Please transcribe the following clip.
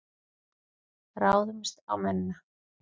Ráðumst á mennina!